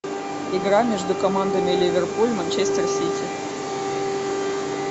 игра между командами ливерпуль манчестер сити